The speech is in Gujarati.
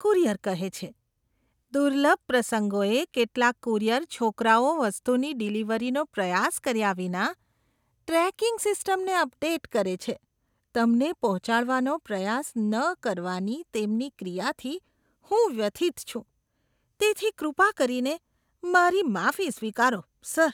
કુરિયર કહે છે, દુર્લભ પ્રસંગોએ, કેટલાક કુરિયર છોકરાઓ વસ્તુની ડિલિવરીનો પ્રયાસ કર્યા વિના ટ્રેકિંગ સિસ્ટમને અપડેટ કરે છે. તમને પહોંચાડવાનો પ્રયાસ ન કરવાની તેમની ક્રિયાથી હું વ્યથિત છું, તેથી કૃપા કરીને મારી માફી સ્વીકારો, સર.